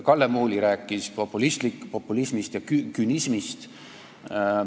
Kalle Muuli rääkis populismist ja künismist.